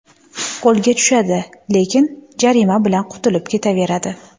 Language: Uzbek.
Qo‘lga tushadi, lekin jarima bilan qutulib ketaveradi.